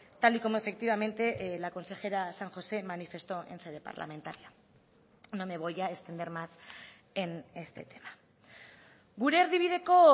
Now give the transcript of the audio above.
tal y como efectivamente la consejera san josé manifestó en sede parlamentaria no me voy a extender más en este tema gure erdibideko